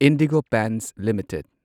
IndiGo Paints limited